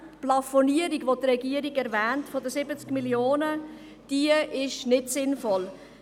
Die Plafonierung bei 70 Mio. Franken, welche die Regierung erwähnt, ist nicht sinnvoll.